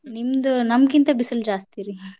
ನಿಮ್ದ್ ನಮ್ಮ್ಕಿಂತ ಬಿಸಲ್ ಜಾಸ್ತಿ ರೀ.